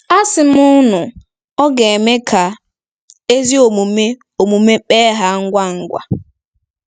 Asim unu, Ọ gēme ka ezi omume omume kpe ha ngwa ngwa.